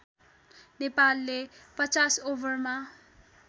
नेपालले ५० ओभरमा